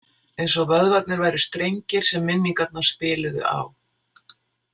Eins og vöðvarnir væru strengir sem minningarnar spiluðu á.